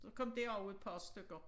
Så kom der også et par stykker